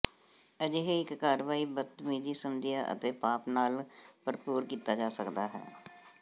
ਅਜਿਹੇ ਇੱਕ ਕਾਰਵਾਈ ਬਦਤਮੀਜ਼ੀ ਸਮਝਿਆ ਅਤੇ ਪਾਪ ਨਾਲ ਭਰਪੂਰ ਕੀਤਾ ਜਾ ਸਕਦਾ ਹੈ